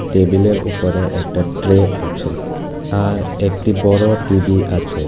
টেবিলের উপরে একটা ট্রে আছে আর একটি বড় টি_ভি আছে।